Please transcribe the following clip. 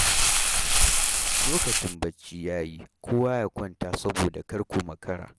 Lokacin bacci ya yi kowa ya kwanta saboda kar ku makara.